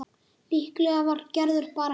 Líklega var Gerður bara heima.